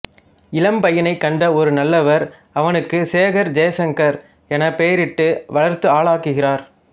இளம் பையனைக் கண்ட ஒரு நல்லவர் அவனுக்கு சேகர் ஜெய்சங்கர் எனப் பெயரிட்டு வளர்த்து ஆளாக்குகிறார்